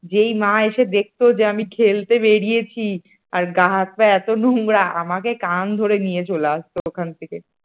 যেই মা এসে দেখত যে আমি খেলতে বেরিয়েছি আর গা হাত পা এত নোংরা । আমাকে কান ধরে নিয়ে চলে আসতো ওখান থেকে।